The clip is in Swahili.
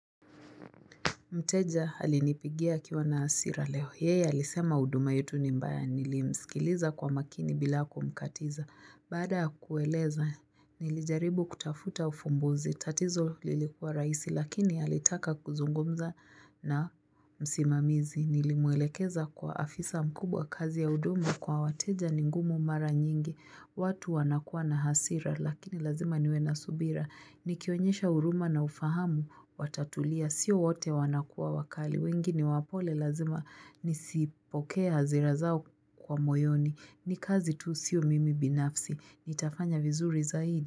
Mteja alinipigia akiwa na hasira leo. Yeye alisema huduma yetu ni mbaya. Nilimsikiliza kwa makini bilaku mkatiza. Baada kueleza, nilijaribu kutafuta ufumbuzi. Tatizo lilikuwa rahisi, lakini alitaka kuzungumza na msimamizi. Nilimwelekeza kwa afisa mkubwa kazi ya huduma kwa wateja ningumu mara nyingi. Watu wanakuwa na hasira, lakini lazima niwena subira. Ni kionyesha huruma na ufahamu, watatulia, sio wote wanakuwa wakali, wengine wapole lazima nisipokee hazirazao kwa moyoni. Ni kazi tu sio mimi binafsi, ni tafanya vizuri zaidi.